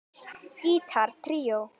Gítar tríó